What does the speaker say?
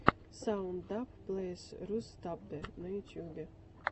саунд даб плэйс русдаббэ на ютьюбе